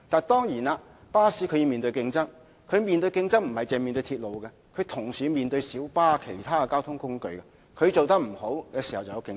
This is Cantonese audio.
當然，巴士要面對競爭，不止來自鐵路的競爭，同時還要面對來自小巴等其他交通工具的競爭。